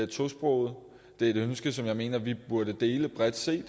tosprogede det er et ønske som jeg mener vi burde dele bredt set